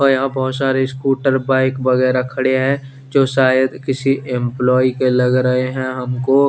और यहाँ पर बहोत सारे स्कूटर बाइक वगेरा खड़े है जो शायद किसी एम्प्लोयी के लग्ग रहे है हम को --